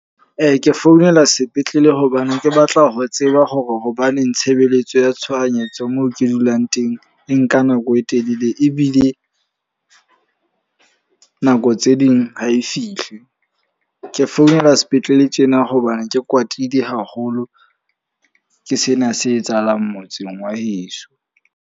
Ke founela sepetlele hobane ke batla ho tseba hore hobaneng tshebeletso ya tshohanyetso moo ke dulang teng e nka nako e telele. Ebile nako tse ding ha e fihle. Ke founela sepetlele tjena hobane ke kwatile haholo ke sena se etsahalang motseng wa heso.